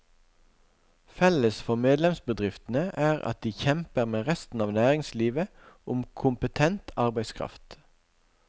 Felles for medlemsbedriftene er at de kjemper med resten av næringslivet om kompetent arbeidskraft.